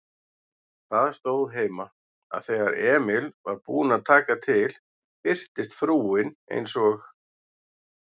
Það stóð heima, að þegar Emil var búinn að taka til birtist frúin eins og